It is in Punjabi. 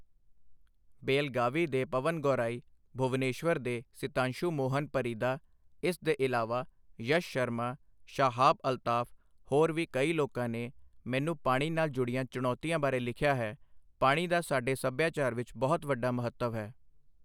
ਬੇਲਗਾਵੀ ਦੇ ਪਵਨ ਗੌਰਾਈ, ਭੁਵਨੇਸ਼ਵਰ ਦੇ ਸਿਤਾਂਸ਼ੂ ਮੋਹਨ ਪਰੀਦਾ, ਇਸ ਦੇ ਇਲਾਵਾ ਯਸ਼ ਸ਼ਰਮਾ, ਸ਼ਾਹਾਬ ਅਲਤਾਫ, ਹੋਰ ਵੀ ਕਈ ਲੋਕਾਂ ਨੇ ਮੈਨੂੰ ਪਾਣੀ ਨਾਲ ਜੁੜੀਆਂ ਚੁਣੌਤੀਆਂ ਬਾਰੇ ਲਿਖਿਆ ਹੈ, ਪਾਣੀ ਦਾ ਸਾਡੇ ਸੱਭਿਆਚਾਰ ਵਿੱਚ ਬਹੁਤ ਵੱਡਾ ਮਹੱਤਵ ਹੈ।